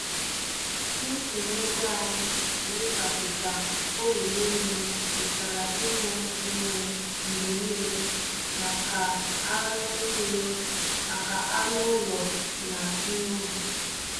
Ntinye ego anyị n'ịgbapụta olulu mmiri pụtara inwe mmiri mgbe niile maka anụ niile maka anụ ụlọ na ihe ubi.